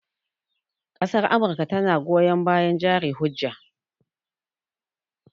Ƙasar amurka tana goyon bayan jari hujja